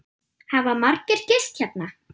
Hafa margir gist hérna?